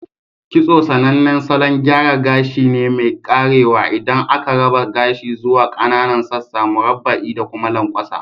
Kitso sAnannen salon gyara gashi ne mai karewa inda aka raba gashi zuwa kAnanan sassan murabba'i da kuma lanƙwasa.